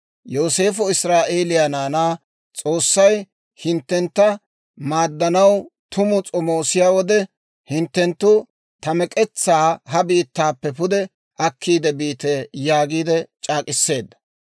Yooseefo israa'eeliyaa naanaa, «S'oossay hinttentta maaddanaw tumu s'omoosiyaa wode, hinttenttu ta mek'etsaa ha biittaappe pude akkiidde biite» yaagiide c'aak'k'iseedda.